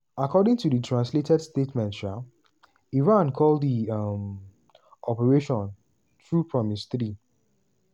according to di translated statement um iran call di um operation "true promise 3".